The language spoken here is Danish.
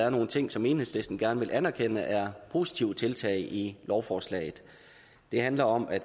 er nogle ting som enhedslisten gerne vil anerkende er positive tiltag i lovforslaget det handler om at